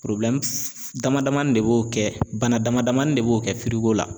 dama damani de b'o kɛ bana damadamanin de b'o kɛ la